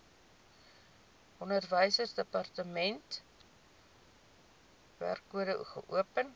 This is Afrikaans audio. onderwysdepartement wkod geopen